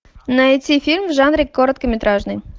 найти фильм в жанре короткометражный